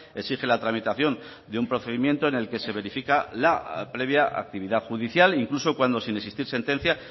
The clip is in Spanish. exige la tramitación de un procedimiento en el que se verifica la previa actividad judicial incluso cuando sin existir sentencia